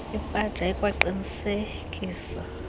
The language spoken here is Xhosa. ipaja ikwaqinise kisa